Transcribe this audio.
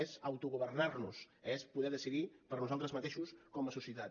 és autogovernar nos és poder decidir per nosaltres mateixos com a societat